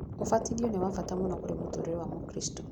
ũbatithio nĩ wabata mũno kũrĩ mũtũrĩre wa mũkristo.